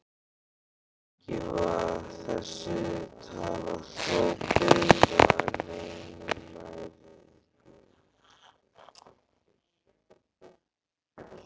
Ekki var þessi tala þó byggð á neinum mælingum.